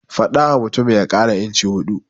Faɗawa mutumin ya ƙara inci huɗu.